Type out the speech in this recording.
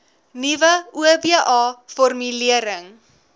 nuwe oba formulering